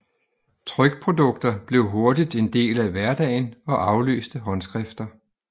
Trykprodukter blev hurtigt en del af hverdagen og afløste håndskrifter